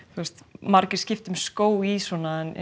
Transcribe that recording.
margir skipta um skó í svona en